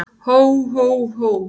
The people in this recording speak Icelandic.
Hó, hó, hó!